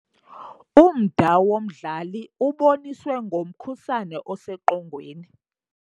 Umda womdlali uboniswe ngomkhusane oseqongweni.